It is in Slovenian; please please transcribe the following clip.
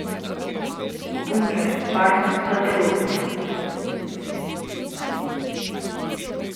Bunker, varnost za telo.